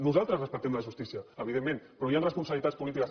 nosaltres respectem la justícia evidentment però hi han responsabilitats polítiques